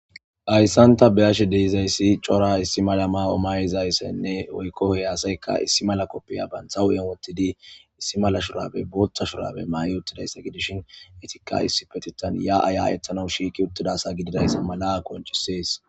Hayssan ta be ashe deizayssi cora issi malama omayizayssaynne oykkohey aasayka issi mala koppiya banthawuyen wottidi issi mala shurabey bootta shurabe maa7i uttidayssa gidishin etikka issi petitan ya aya ethanou shiiki uttidasa gididayssa mala akoncisees